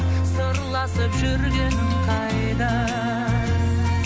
сырласып жүргенің қайда